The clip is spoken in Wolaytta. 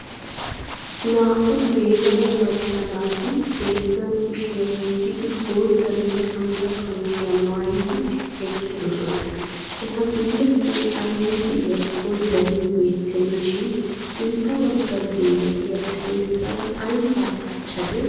Naa"u geela"o macca naati xeessan kushiyaa wottidi, boottanne qantta qamisiyaa maayidi, eqqidosona. eta guyyessan aybi de"iyaakko darin beettennashin, sintta bagga geela"iyaa xeessaa aybin kachchadee?